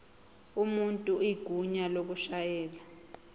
umuntu igunya lokushayela